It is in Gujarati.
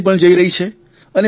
વીજળી પણ જઇ રહી છે